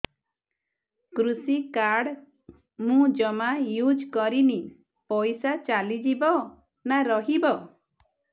କୃଷି କାର୍ଡ ମୁଁ ଜମା ୟୁଜ଼ କରିନି ପଇସା ଚାଲିଯିବ ନା ରହିବ